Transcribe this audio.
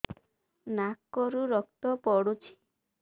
ନାକରୁ ରକ୍ତ ପଡୁଛି